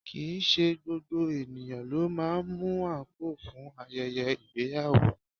Kìí ṣe gbogbo ènìyàn ló máa ń mú àǹkóò fún ayẹyẹ ìgbéyàwó